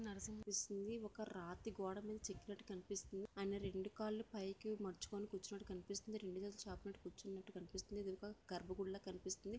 నరసింహస్వామి ఒక రాతి గోడమీద చెక్కినట్టు కనిపిస్తుంది. ఆయన రెండు కాళ్లు పైకి ముడుచుకొని కూర్చున్నట్టు కనిపిస్తుంది. చాప మీద కూర్చున్నట్టు కనిపిస్తుంది. ఎదురుగా గర్భగుడిలా కనిపిస్తుంది.